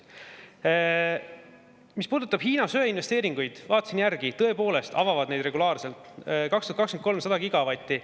Mis puudutab Hiina söeinvesteeringuid, siis vaatasin järgi, tõepoolest avavad nad neid regulaarselt: 2023. aastal 100 gigavatti.